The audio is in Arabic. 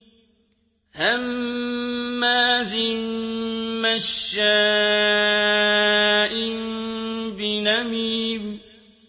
هَمَّازٍ مَّشَّاءٍ بِنَمِيمٍ